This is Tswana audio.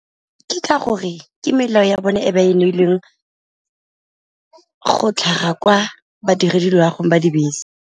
Ke ka gore ke melao ya bone e ba e neilweng go tlhaga kwa badirelwa gongwe ba dibese.